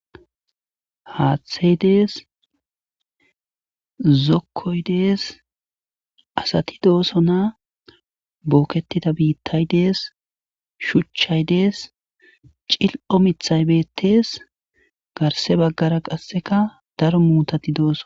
haaththey dees zokkoy dees asati doosso na bookettida biittay dees shuchchay dees cil7o mithay bettees garse baggara qasseka daro muutati dooso